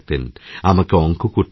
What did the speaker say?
আমাকে অঙ্ক করতে বলতেন